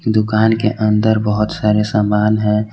दुकान के अंदर बहुत सारे सामान है।